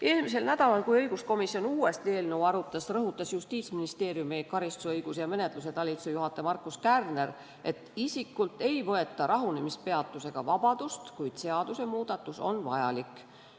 Eelmisel nädalal, kui õiguskomisjon uuesti eelnõu arutas, rõhutas Justiitsministeeriumi karistusõiguse ja menetluse talituse juhataja Markus Kärner, et isikult ei võeta rahunemispeatusega vabadust, kuid seadusemuudatus on vajalik.